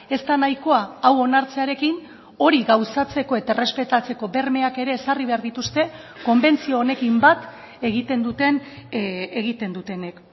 ez da nahikoa hau onartzearekin hori gauzatzeko eta errespetatzeko bermeak ere ezarri behar dituzte konbentzio honekin bat egiten duten egiten dutenek